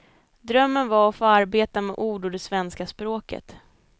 Drömmen var att få arbeta med ord och det svenska språket.